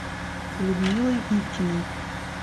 людмилой ивкиной